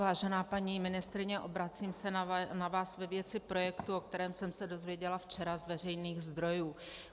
Vážená paní ministryně, obracím se na vás ve věci projektu, o kterém jsem se dozvěděla včera z veřejných zdrojů.